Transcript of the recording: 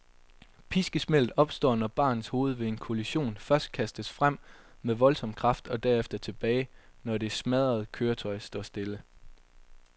Piskesmældet opstår, når barnets hoved ved en kollision først kastes frem med voldsom kraft og derefter tilbage, når det smadrede køretøj står stille.